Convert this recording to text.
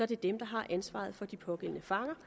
det dem der har ansvaret for de pågældende fanger